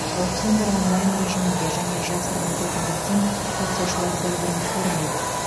аукциондар онлайн режимінде және жасырын өтетіндіктен қатысушылар бір бірін көрмейді